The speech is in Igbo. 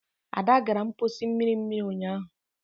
Ada gara mposi mmiri mmiri unyahu.